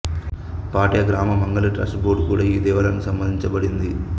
పాటియ గ్రామ మంగళి trust board కూడా ఈ దేవాలయానికి సంబంధించింది